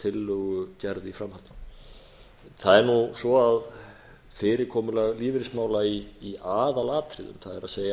tillögugerð í framhaldinu það er nú svo að fyrirkomulag lífeyrismála í aðalatriðum það